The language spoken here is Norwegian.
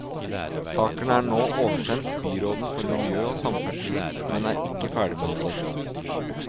Saken er nå oversendt byråden for miljø og samferdsel, men er ikke ferdigbehandlet.